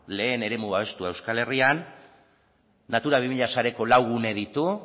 lehen eremu babestua euskal herrian natura bi mila sareko lau gune ditu